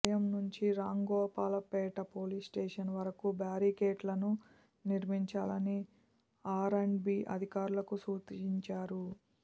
ఆలయం నుంచి రాంగోపాల్పేట పోలీసుస్టేషన్ వరకు బ్యారికేడ్లను నిర్మించాలని ఆర్ అండ్ బీ అధికారులకు సూచించారు